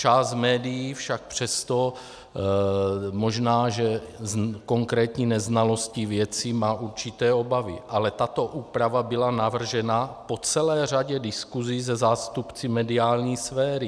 Část médií však přesto, možná že z konkrétní neznalosti věci, má určité obavy, ale tato úprava byla navržena po celé řadě diskusí se zástupci mediální sféry.